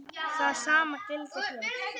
Það sama gildir hér.